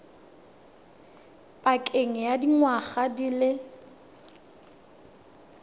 pakeng ya dingwaga di le